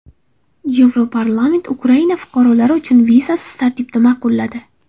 Yevroparlament Ukraina fuqarolari uchun vizasiz tartibni ma’qulladi.